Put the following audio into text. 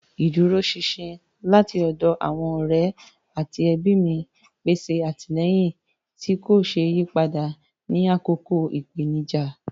Ìdúróṣinṣin láti ọ̀dọ̀ àwọn ọ̀rẹ́ àti ẹbí mi pèsè àtìlẹ́yìn tí kò ṣeé yí padà ní àkókò ìpèníjà.